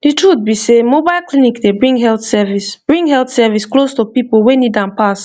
the truth be sey mobile clinic dey bring health service bring health service close to people wey need am pass